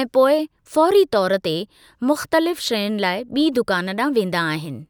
ऐं पोइ फ़ौरी तौर ते मुख़्तलिफ़ शयुनि लाइ ॿी दुकान ॾांहुं वेंदा आहिनि।